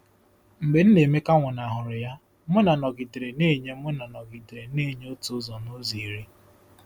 Mgbe Nnaemeka nwụnahụrụ ya, Muna nọgidere na-enye Muna nọgidere na-enye otu ụzọ n'ụzọ iri.